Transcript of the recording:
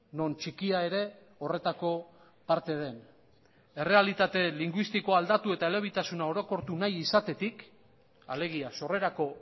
non txikia ere horretako parte den errealitate linguistikoa aldatu eta elebitasuna orokortu nahi izatetik alegia sorrerako